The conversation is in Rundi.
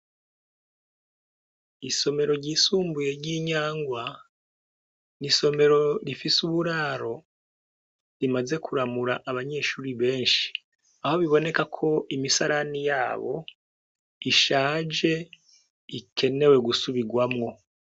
Isomero ryisumbuye ry'i Nyangwa ni isomero rifise uburaro rimaze kuramura abanyeshure benshi aho biboneka ko imisarani yabo ishaje ikenewe gusubirwamwo.